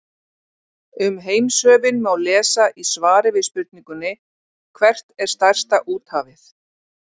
Um heimshöfin má lesa í svari við spurningunni Hvert er stærsta úthafið?